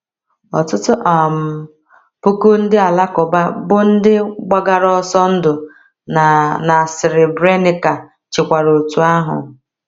Ọtụtụ um puku ndị Alakụba bụ́ ndị gbagara ọsọ ndụ na na Srebrenica chekwara otú ahụ.